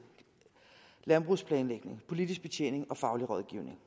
landbrugsplanlægning politisk betjening og faglig rådgivning